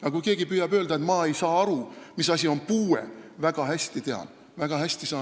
Aga kui keegi püüab öelda, et ma ei saa aru, mis asi on puue, siis ma tean seda väga hästi.